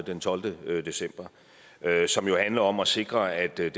den tolvte december og som jo handler om at sikre at den